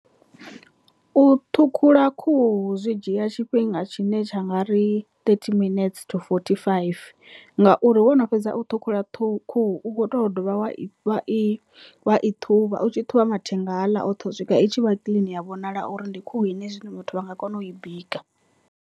U ṱhukhula khuhu zwi dzhia tshifhinga tshine tsha nga ri thirty minuts to forty five ngauri wono fhedza u ṱhukhula khuhu u kho to dovha wa i wa i thuvha u tshi thuvha mathenga haaḽa oṱhe u swika itshi vha kiḽini ya vhonala uri ndi khuhu ine zwine muthu a nga kona u i bika.